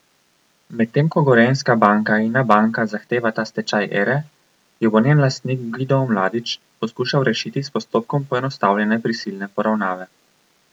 Medtem ko Gorenjska banka in Abanka zahtevata stečaj Ere, jo bo njen lastnik Gvido Omladič poskušal rešiti s postopkom poenostavljene prisilne poravnave.